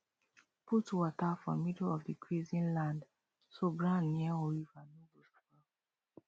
put water for middle of the grazing land so ground near river no go spoil